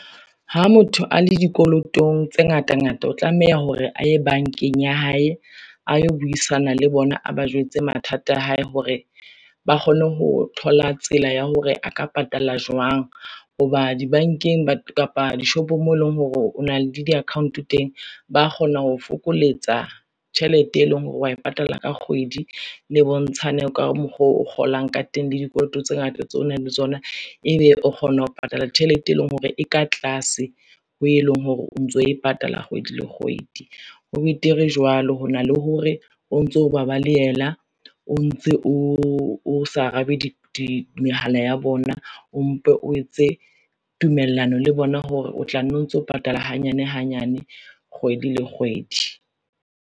Ha motho a le dikolotong tse ngata ngata, o tlameya hore a ye bankeng ya hae, a yo buisana le bona, a ba jwetse mathata a hae hore ba kgone ho thola tsela ya hore a ka patala jwang, ho ba dibankeng kapa dishopong moo eleng hore o na le di-account teng, ba kgona ho fokoletsa tjhelete, e leng hore wa e patala ka kgwedi, le bontshane ka mokgwa o kgolang ka teng le dikoloto tse ngata tseo o nang le tsona, e ebe o kgona ho patala tjhelete, e leng hore e ka tlase ho e leng hore o ntso e patala kgwedi le kgwedi. Ho betere jwalo hona le hore o ntso ba balehela, o ntse o sa arabe mehala ya bona, o mpe o etse tumellano le bona hore o tla no ntso patala hanyane hanyane kgwedi le kgwedi.